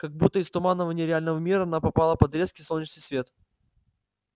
как будто из туманного нереального мира она попала под резкий солнечный свет